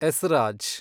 esraj